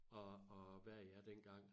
Og og hvad er jeg dengang